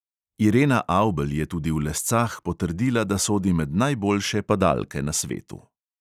Irena avbelj je tudi v lescah potrdila, da sodi med najboljše padalke na svetu.